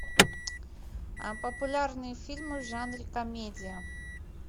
популярные фильмы в жанре комедия